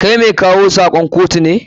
Kai mai kawo sakon kotu ne?